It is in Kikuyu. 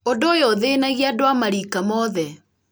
ũndũ ũyũ ũthĩnagia andũ a marika mothe